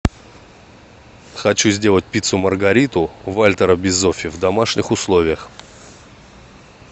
хочу сделать пиццу маргариту вальтера бизоффи в домашних условиях